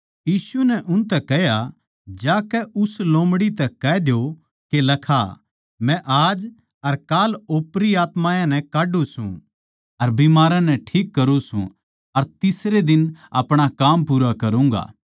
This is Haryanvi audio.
यीशु नै उनतै कह्या जाकै उस लोमड़ी तै कह द्यो के लखा मै आज अर काल ओपरी आत्मायाँ नै काढ्ढू सूं अर बीमारां नै ठीक करूँ सूं अर तीसरे दिन अपणा काम पूरा करूँगा